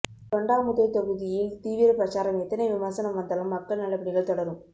தொண்டாமுத்தூர் ெதாகுதியில் தீவிர பிரசாரம் எத்தனை விமர்சனம் வந்தாலும் மக்கள் நலப்பணிகள் தொடரும்